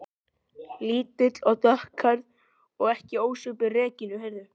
Lítil og dökkhærð og ekki ósvipuð Regínu